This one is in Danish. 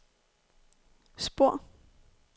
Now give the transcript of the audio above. spor